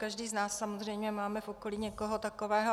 Každý z nás samozřejmě máme v okolí někoho takového.